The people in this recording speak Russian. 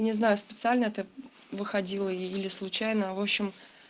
не знаю специально это выходило или случайно в общем